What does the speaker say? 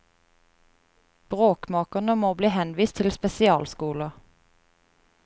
Bråkmakerne må bli henvist til spesialskoler.